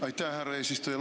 Aitäh, härra eesistuja!